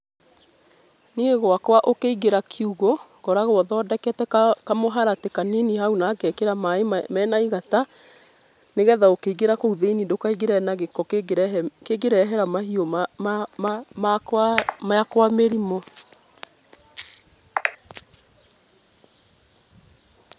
Niĩ gwakwa ũkĩigĩra kiũgũ ngoragwo thodekete kamũharatĩ kanini hau nangekĩra maaĩ mena igata, nĩgetha ũkĩigĩra kũu thĩiniĩ ndũkaigĩre na gĩko kĩngĩrehe kĩngĩrehera mahiũ makwa makwa mĩrimũ.